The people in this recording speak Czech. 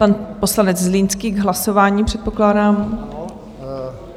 Pan poslanec Zlínský k hlasování, předpokládám.